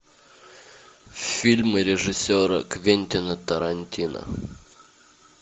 фильмы режиссера квентина тарантино